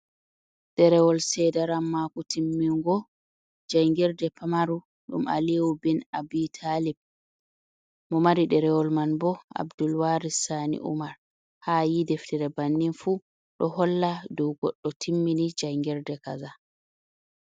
Ɗerewol sedaran mako timmingo jangirde pamaru ɗum Aliyu bin Abu ɗalib, mo mari ɗerewol man bo Abdul wari sani umar, ha ayi deftere bannin fu, ɗo holla ɗo goɗɗo timmini jangirde kaza.